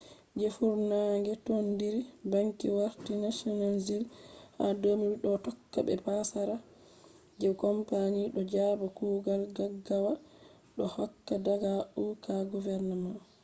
je funange tondire banki warti nationalized ha 2008 do tokka be passara je company do jaba kugal gaggawa do hokka daga uk government